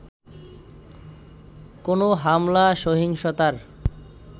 কোনো হামলা-সহিংসতার